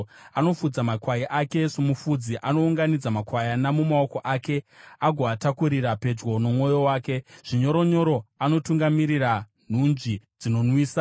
Anofudza makwai ake somufudzi: Anounganidza makwayana mumaoko ake agoatakurira pedyo nomwoyo wake; zvinyoronyoro anotungamirira nhunzvi dzinonwisa.